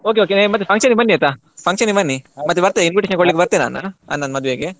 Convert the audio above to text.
Okay okay ಮತ್ತೆ function ಗೆ ಬನ್ನಿ ಆಯ್ತಾ function ಗೆ ಬನ್ನಿ ಮತ್ತೆ ಬರ್ತೇನೆ invitation ಕೊಡ್ಲಿಕ್ಕೆ ಬರ್ತೇನೆ ಅಣ್ಣನ ಮದುವೆಗೆ.